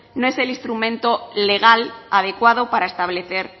no es el instrumento legal adecuado para establecer